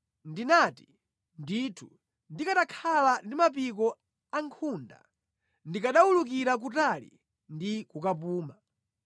Ndinati, “Ndithu, ndikanakhala ndi mapiko ankhunda! Ndikanawulukira kutali ndi kukapuma.